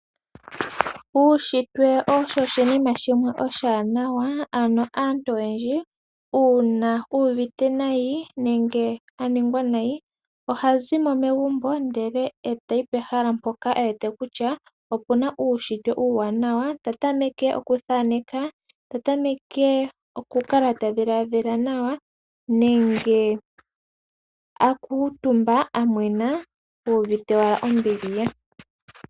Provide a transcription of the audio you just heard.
Uushitwe osho oshinima shimwe oshiwanawa ano aantu oyendji uuna yuuvite nayi nenge aningwa nayi, oha zimo megumbo ndele etayi pehala mpoka e wete kutya ope na uushitwe uuwanawa, ta tameke okuthaneka, ta tameke oku kala tadhiladhila nawa nenge aakuutumba a mwena uuvite owala ombili ye.